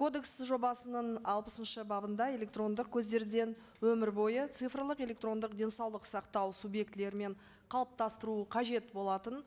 кодекс жобасының алпысыншы бабында электрондық көздерден өмір бойы цифрлық электрондық денсаулық сақтау субъектілерімен қалыптастыру қажет болатын